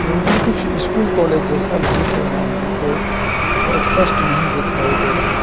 उधर कुछ school college जैसा दिख रहा है हमको जो स्‍पष्‍ट नहीं दिखाई दे रहा --